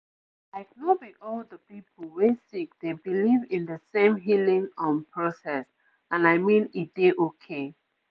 like no be all the people wey sick dey believe in de same healing um process and i mean e dey okay